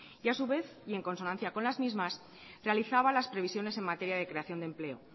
y a su vez y en consonancia con las mismas realizaba las previsiones en materia de creación de empleo